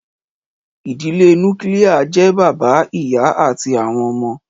Ìdílé Núkilia jẹ́ bàbá, ìyá àti àwọn ọmọ